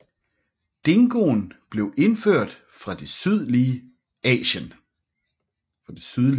Dingoen blev indført fra det Sydlige Asien